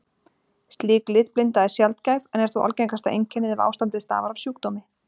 Slík litblinda er sjaldgæf en er þó algengasta einkennið ef ástandið stafar af sjúkdómi.